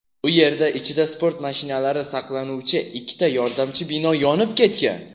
U yerda ichida sport mashinalari saqlanuvchi ikkita yordamchi bino yonib ketgan.